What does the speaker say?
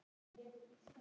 Hvernig veist þú það?